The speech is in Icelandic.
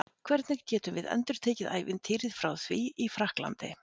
Hvernig getum við endurtekið ævintýrið frá því í Frakklandi?